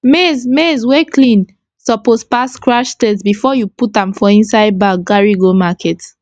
maize maize wey clean suppose pass scratch test before u put am for inside bag carry go market